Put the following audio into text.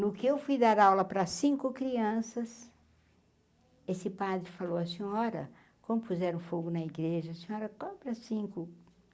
No que eu fui dar aula para cinco crianças, esse padre falou a senhora, como puseram fogo na igreja, a senhora, cinco?